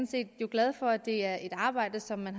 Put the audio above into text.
set glad for at det er et arbejde som man